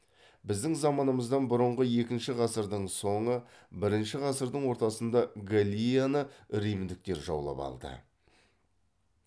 біздің заманымыздан бұрынғы екінші ғасырдың соңы бірінші ғасырдың ортасында галлияны римдіктер жаулап алды